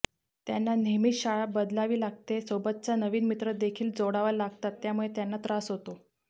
त्यांना नेहमीच शाळा बदलावी लागते सोबतचा नवीन मित्र देखील जोडावे लागतात त्यामुळे त्यांना त्रास होतो